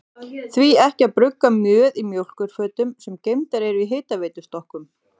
Því ekki að brugga mjöð í mjólkurfötum, sem geymdar eru í hitaveitustokkunum?